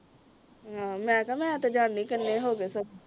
ਹਾਂ ਮੈਂ ਕਿਹਾ ਮੈਂ ਤੇ ਜਾਨੀ ਆਂ ਕਿੰਨੇ ਹੋ ਗਏ ਸਗੋਂ